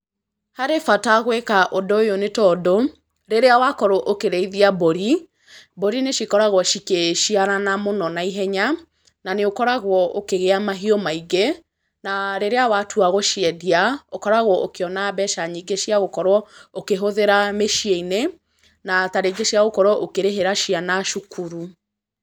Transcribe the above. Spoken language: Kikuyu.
Harĩ bata gwĩka ũndũ ũyũ nĩ tondũ, rĩrĩa wakorwo ũkĩrĩithia mbũri, mbũri nĩ cikoragwo cikĩciarana mũno na ihenya, na nĩ ũkoragwo ũkĩgĩa mahiũ maingĩ, na ríĩíĩ watua gũciendia, ũkoragwo ũkĩona mbeca nyingĩa cia gũkorwo ũkĩhũthĩra mĩciĩ-inĩ, na ta rĩngĩ cia gũkorwo ũkĩrĩhĩra ciana cukuru.